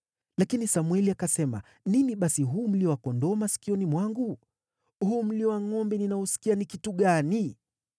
Lakini Samweli akasema, “Nini basi huu mlio wa kondoo masikioni mwangu? Huu mlio wa ngʼombe ninaousikia ni kitu gani?”